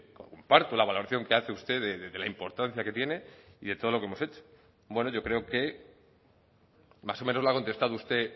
comparto la valoración que hace usted de que la importancia que tiene y de todo lo que hemos hecho bueno yo creo que más o menos lo ha contestado usted